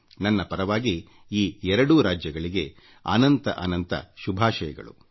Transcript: ನನ್ನ ಪರವಾಗಿ ಈ ಎರಡೂ ರಾಜ್ಯಗಳಿಗೆ ಅನಂತ ಅನಂತ ಶುಭಾಶಯಗಳು